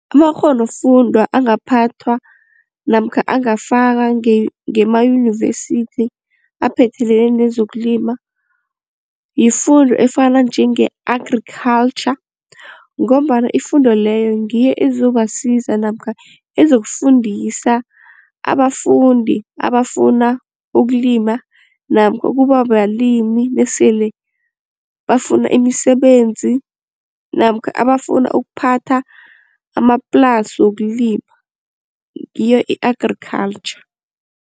Amakgonofundwa angaphathwa namkha angafaka ngemayunivesithi aphethelene nezokulima yifundo efana njenge-agriculture ngombana ifundo leyo ngiyo ezobasiza namkha ezokufundisa abafundi abafuna ukulima namkha ukuba balimi nasele bafuna imisebenzi namkha abafuna ukuphatha amaplasi wokulima ngiyo i-agriculture.